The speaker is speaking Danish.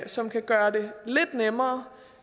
som kan gøre det lidt nemmere